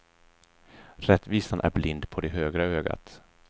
Rättvisan är blind på det högra ögat.